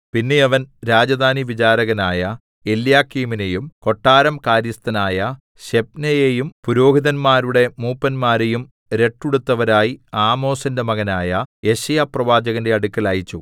പിന്നെ അവൻ രാജധാനിവിചാരകനായ എല്യാക്കീമിനെയും കൊട്ടാരം കാര്യസ്ഥനായ ശെബ്നയെയും പുരോഹിതന്മാരുടെ മൂപ്പന്മാരെയും രട്ടുടുത്തവരായി ആമോസിന്റെ മകനായ യെശയ്യാപ്രവാചകന്റെ അടുക്കൽ അയച്ചു